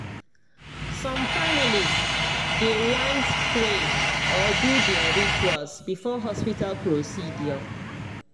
some families dey want pray or do their rituals before hospital procedure